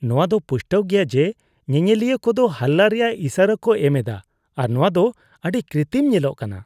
ᱱᱚᱶᱟ ᱫᱚ ᱯᱩᱥᱴᱟᱹᱣ ᱜᱮᱭᱟ ᱡᱮ ᱧᱮᱧᱮᱞᱤᱭᱟᱹ ᱠᱚᱫᱚ ᱦᱟᱞᱞᱟ ᱨᱮᱭᱟᱜ ᱤᱥᱟᱹᱨᱟ ᱠᱚ ᱧᱟᱢᱮᱫᱟ ᱟᱨ ᱱᱚᱶᱟ ᱫᱚ ᱟᱹᱰᱤ ᱠᱤᱨᱛᱤᱢ ᱧᱮᱞᱚᱜ ᱠᱟᱱᱟ ᱾